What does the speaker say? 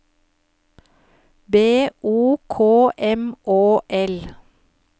B O K M Å L